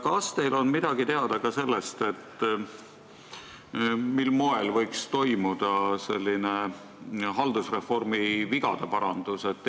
Kas teile on teada, mil moel võiks toimuda mingi haldusreformi vigade parandus?